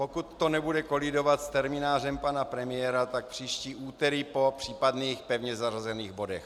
Pokud to nebude kolidovat s terminářem pana premiéra, tak příští úterý po případných pevně zařazených bodech.